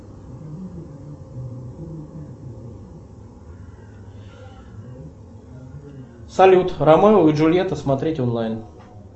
салют ромео и джульетта смотреть онлайн